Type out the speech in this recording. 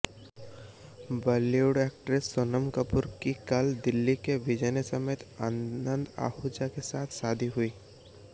Bollywood actress Sonam Kapoor की कल दिल्ली के बिजनेसमैन आनंद अहूजा के साथ शादी हुई